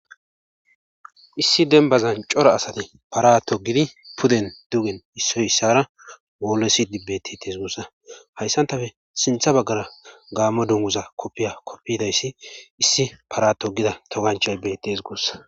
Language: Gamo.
Issi denbazan cora asate paratogidi puden dugen issoy issara woolesi dibtities gussa hayssantafe sintha baggara gaamo dunguza koppiya koppidayssi issi para togida toganchay bettees gussa